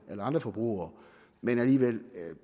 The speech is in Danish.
andre forbrugere men alligevel